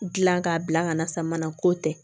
Gilan k'a bila ka na sama na ko tɛ